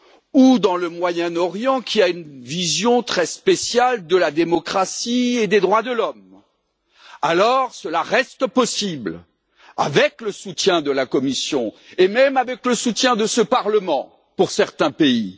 ou au Moyen Orient, qui a une vision très spéciale de la démocratie et des droits de l'homme, alors cela reste possible, avec le soutien de la Commission et même avec le soutien de ce Parlement, pour certains pays.